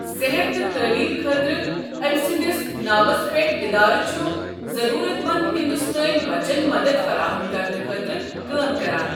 صحت تہٕ تعلیٖم خٲطرٕ أمۍ سٕنٛدِس ناوس پٮ۪ٹھ اِدارٕ چھُ ضٔروٗرت منٛد ہِنٛدُستٲنۍ بَچن مَدد فَراہم کرنہٕ خٲطرٕ کٲم کَران۔